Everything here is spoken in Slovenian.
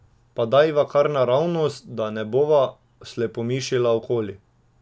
Pa dajva kar naravnost, da ne bova slepomišila okoli ...